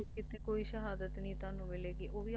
ਕੀਤੇ ਕੋਈ ਸ਼ਹਾਦਤ ਨਹੀਂ ਤੁਹਾਨੂੰ ਮਿਲੇਗੀ ਉਹ ਵੀ ਆਪਣੇ